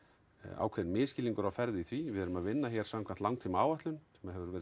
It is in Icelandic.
ákveðinn misskilningur á ferð í því við erum að vinna hér samkvæmt langtíma áætlun sem hefur verið